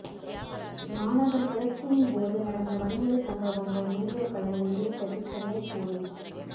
மாணவர் புரட்சியின்போது நடந்த வன்முறை சம்பவங்கள் வீடியோக்களை வெளியிட்டது சென்னை போலீஸ்